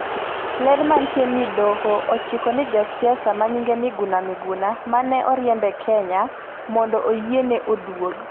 ler manitie ni doho ochiko ni jasiasa ma nyinge Miguna Miguna manene oriemb e Kenya mondo oyiene oduog